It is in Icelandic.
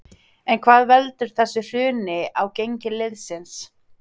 En hvað veldur þessu hruni á gengi liðsins?